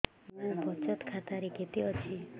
ମୋ ବଚତ ଖାତା ରେ କେତେ ଅଛି